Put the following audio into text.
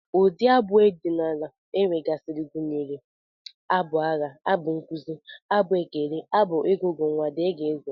Ụdị abụ ọdịnala e nwegasịrị gụnyere abụ agha, abụ nkụzi, abụ ekere, abụ ngụgụ nnwa, dgz